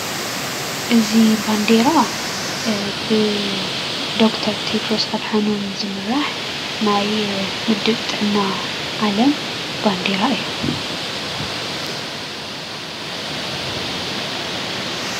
እዙይ ባንዴራ ብዶክተር ቴድሮስ ኣድሓኖም ዝምራሕ ናይ ውድብ ጥዕና ዓለም ባንዴራ እያ።